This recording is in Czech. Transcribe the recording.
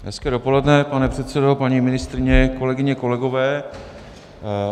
Hezké dopoledne, pane předsedo, paní ministryně kolegyně, kolegové.